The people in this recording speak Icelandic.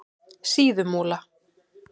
Síðumúla